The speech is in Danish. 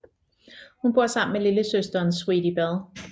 Hun bor sammen med lillesøsteren Sweetie Bell